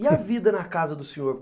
E a vida na casa do senhor?